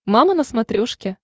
мама на смотрешке